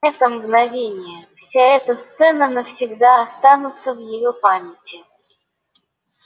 это мгновение вся эта сцена навсегда останутся в её памяти